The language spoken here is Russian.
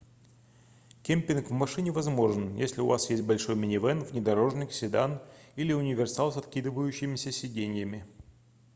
кемпинг в машине возможен если у вас есть большой минивэн внедорожник седан или универсал с откидывающимися сиденьями